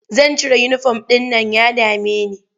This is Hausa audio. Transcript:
Zan cire uniform ɗin nan ya dame ni.